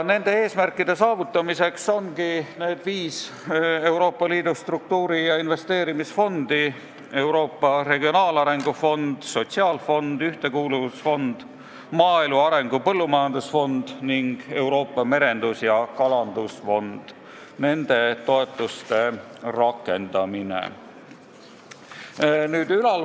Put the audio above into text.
" Nende eesmärkide saavutamiseks ongi need viis Euroopa Liidu struktuuri- ja investeerimisfondi – Euroopa Regionaalarengu Fond, Euroopa Sotsiaalfond, Ühtekuuluvusfond, Euroopa Maaelu Arengu Põllumajandusfond ning Euroopa Merendus- ja Kalandusfond –, mille toetusi tuleb rakendada.